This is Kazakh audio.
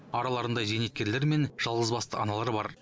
араларында зейнеткерлер мен жалғызбасты аналар бар